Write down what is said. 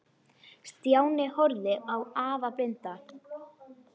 Stjáni horfði á afa blinda.